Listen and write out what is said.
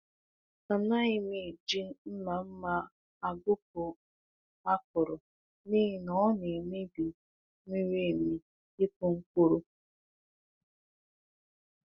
A naghị m eji mma mma agụkpụ akụrụ n’ihi na ọ na-emebi miri emi ịkụ mkpụrụ.